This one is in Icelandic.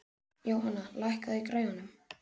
Jóanna, lækkaðu í græjunum.